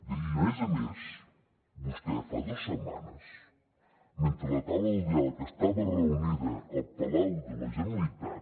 i a més a més vostè fa dos setmanes mentre la taula del diàleg estava reunida al palau de la generalitat